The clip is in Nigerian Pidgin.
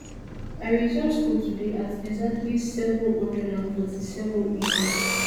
i resume school today at exactly seven hundred and forty-sevenam